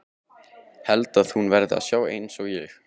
Held að hún verði að sjá einsog ég.